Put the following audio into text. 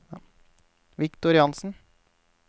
Victor Jansen